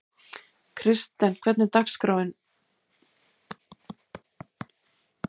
Kristens, hvernig er dagskráin?